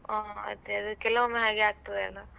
ಹ ಅದೆ ಕೆಲವೊಮ್ಮೆ ಹಾಗೆ ಆಗ್ತದಲ್ಲ.